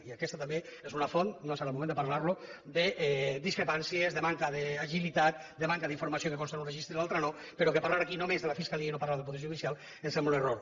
i aquesta també és una font no és ara el moment de parlar ne de discrepàncies de manca d’agilitat de manca d’informació que consta en un registre i a l’altre no però que parlar aquí només de la fiscalia i no parlar del poder judicial em sembla un error